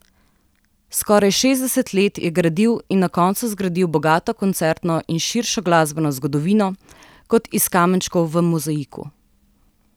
Skoraj šestdeset let je gradil in na koncu zgradil bogato koncertno in širšo glasbeno zgodovino, kot iz kamenčkov v mozaiku.